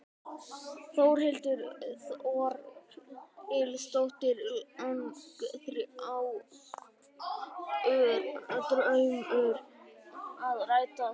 Þórhildur Þorkelsdóttir: Langþráður draumur að rætast?